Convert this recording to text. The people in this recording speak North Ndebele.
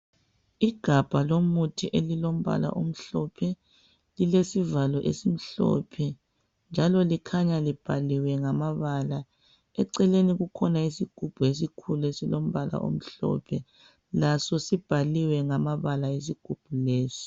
Igabha lomuthi elilombala omhlophe lilesivalo esimhlophe njalo likhanya libhaliwe ngamabala. Eceleni kukhona isigubhu esilombala omhlophe, laso sibhaliwe ngamabala isigubhu lesi.